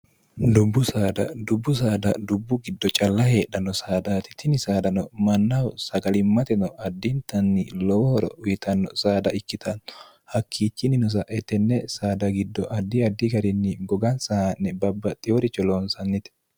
dubbu saada dubbu saada dubbu giddo calla heedhanno saada titini saadano mannaho sagalimmateno addintanni lowohoro uyitanno saada ikkitanno hakkiichinninosaettenne saada giddo addi addi garinni gogan saa'ne babbaxxiworicho loonsannite